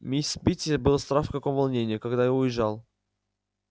мисс питти была страх в каком волнении когда я уезжал